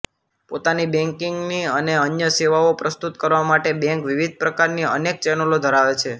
પોતાની બૅન્કિંગની અને અન્ય સેવાઓ પ્રસ્તુત કરવા માટે બૅન્ક વિવિધ પ્રકારની અનેક ચેનલો ધરાવે છેઃ